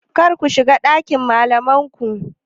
Karku shiga ɗakin malamai ku.